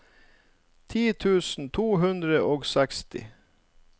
ti tusen to hundre og seksti